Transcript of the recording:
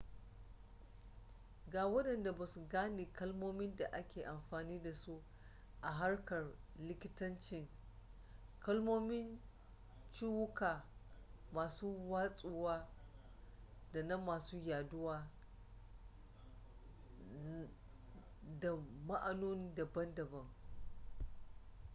ga wadanda ba sa gane kalmomin da ake amfani da su a harkar likitancin kalmomin ciwuka masu watsuwa da na masu yaduwa na da ma'anoni daban-daban